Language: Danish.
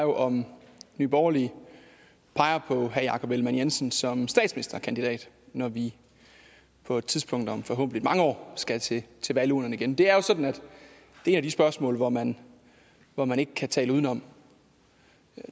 om nye borgerlige peger på herre jakob ellemann jensen som statsministerkandidat når vi på et tidspunkt om forhåbentlig mange år skal til til valgurnerne igen det er jo sådan at et af de spørgsmål hvor man hvor man ikke kan tale udenom